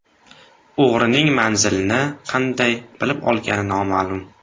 O‘g‘rining manzilni qanday bilib olgani noma’lum.